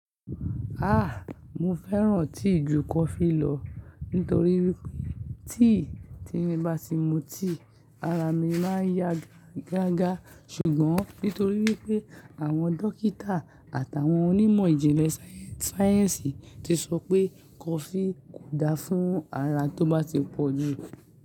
Ah! Mo fẹ́ràn tíì ju kọfí lọ nítorí wípé tíì tín bá ti mu tíì ara mi máa ń yagaga ṣùgbọ́n nítorí wípé àwọn dókítà àtàwọn onímọ̀ ìjìnlẹ̀ sáyẹ́ǹsì ti sọ pé kọfí kò da fún ara tó bá ti pọ̀jù.